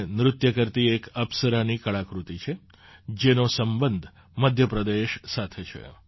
તે નૃત્ય કરતી એક અપ્સરાની કળાકૃતિ છે જેનો સંબંધ મધ્ય પ્રદેશ સાથે છે